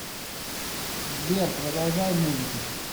сбер продолжай музыку